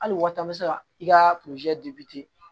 Hali waati an bɛ se ka i ka